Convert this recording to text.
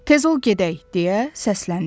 Tez ol gedək, deyə səsləndi.